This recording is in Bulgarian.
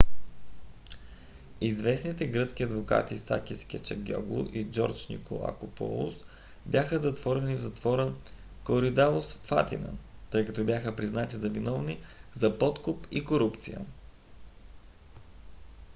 известните гръцки адвокати сакис кечагиоглу и джордж николакопулос бяха затворени в затвора коридалус в атина тъй като бяха признати за виновни за подкуп и корупция